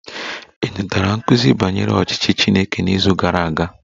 Ị natara nkuzi banyere ọchịchị Chineke n'izu gara aga?